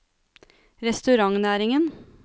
restaurantnæringen